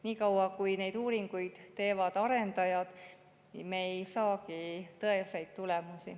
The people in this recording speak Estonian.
Nii kaua, kui neid uuringuid teevad arendajad, me ei saagi tõeseid tulemusi.